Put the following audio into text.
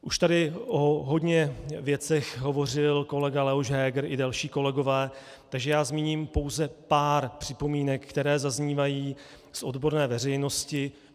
Už tady o hodně věcech hovořil kolega Leoš Heger i další kolegové, takže já zmíním pouze pár připomínek, které zaznívají z odborné veřejnosti.